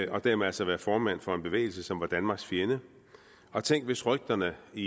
og dermed altså været formand for en bevægelse som var danmarks fjende og tænk hvis rygterne i